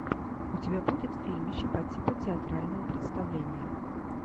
у тебя будет фильмище по типу театрального представления